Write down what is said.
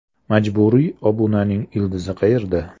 Majburiy obunaning ildizi qayerda?.